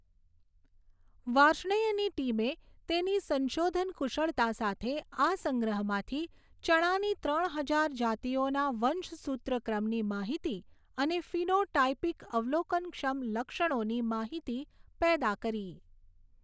વાર્ષ્ણેયની ટીમે તેની સંશોધન કુશળતા સાથે આ સંગ્રહમાંથી ચણાની ત્રણ હજાર જાતિઓના વંશસૂત્ર ક્રમની માહિતી અને ફિનોટાઇપિક અવલોકનક્ષમ લક્ષણોની માહિતી પેદા કરી.